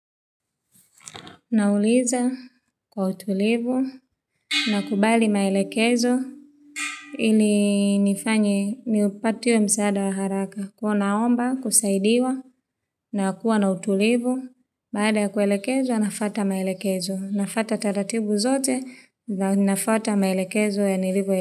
Nauliza kwa utulivu na kubali maelekezo ili nifanyi ni upatio msaada wa haraka. Kuwa naomba, kusaidiwa na kuwa na utulivu, baada ya kuelekezwa nafwata maelekezo. Nafata taratibu zote na nafwata maelekezo ya nilivyo ya.